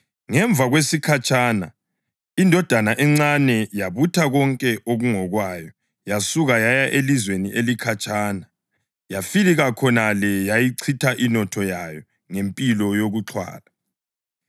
Ngemva kwesikhatshana indodana encane yabutha konke okungokwayo yasuka yaya elizweni elikhatshana, yafika khonale yayichitha inotho yayo ngempilo yokuxhwala.